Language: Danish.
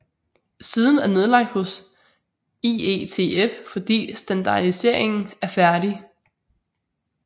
Siden er nedlagt hos IETF fordi standardiseringen er færdig